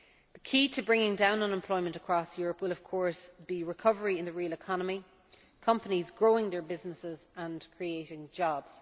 The key to bringing down unemployment across Europe will, of course, be recovery in the real economy companies growing their businesses and creating new jobs.